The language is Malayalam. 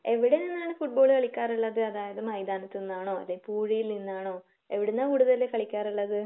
എവിടെ നിന്നാണ് ഫുട്ബാൾ കളിക്കാറുള്ളത്? അതായത് മൈതാനത്ത് നിന്നാണോ അല്ലെങ്കിൽ പുയിയിൽ നിന്നാണോ എവിടുന്നാ കൂടുതൽ കളിക്കാറുള്ളത്?